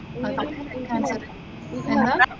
എന്താ?